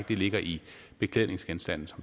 det ligger i beklædningsgenstanden